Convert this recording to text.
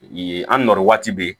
Ee an nɔri waati be yen